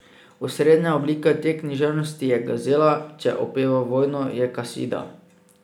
Osrednja oblika te književnosti je gazela, če opeva vojno, je kasida.